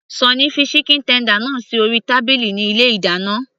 Sunny fi chicken tender náà sí orí tábìlì ní ilé ìdáná